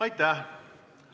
Aitäh!